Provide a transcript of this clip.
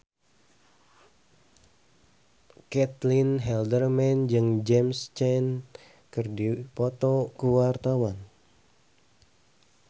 Caitlin Halderman jeung James Caan keur dipoto ku wartawan